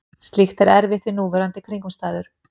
Slíkt er erfitt við núverandi kringumstæður.